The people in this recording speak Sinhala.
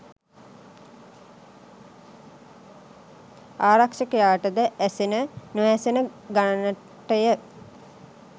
ආරක්‍ෂකයාටද ඇසෙන නොඇසෙන ගණනටය.